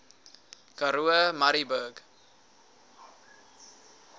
karoo murrayburg